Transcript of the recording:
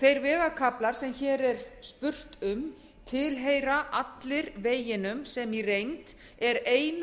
þeir vegakaflar sem hér er spurt um tilheyra allir veginum sem í reynd er eina